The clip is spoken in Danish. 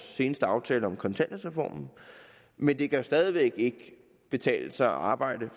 seneste aftale om kontanthjælpsreformen men det kan jo stadig væk ikke betale sig at arbejde